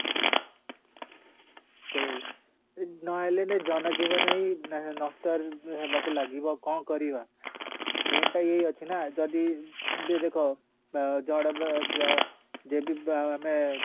ସେ ନ ହେଲେ ନାଇଁ ଜନ ଜୀବନ ହିଁ ନଷ୍ଟ ହେବାକୁ ଲାଗିବ କ'ଣ କରିବା main ଟା ଏଇ ଅଛିନା ଯଦି ବି ଦେଖ ଆଁ ଜଣ ଯଦି ଆମେ